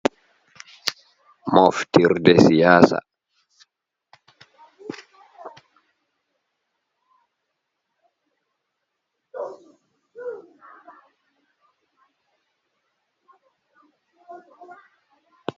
Moftir de siyasa.